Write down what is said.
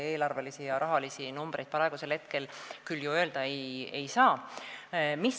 Eelarvelisi ja rahalisi numbreid ma praegu teile küll öelda ei saa.